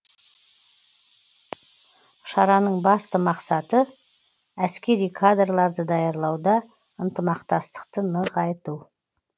шараның басты мақсаты әскери кадрларды даярлауда ынтымақтастықты нығайту